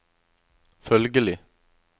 følgelig